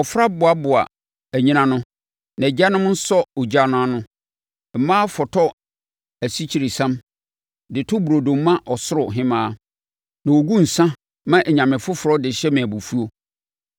Mmɔfra boaboa anyina ano, na agyanom sɔ ogya no ano, mmaa fɔtɔ asikyiresiam de to burodo ma Ɔsoro Hemmaa. Na wɔgu nsã ma anyame foforɔ de hyɛ me abufuo.